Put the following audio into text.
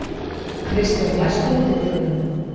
Kristjón, læstu útidyrunum.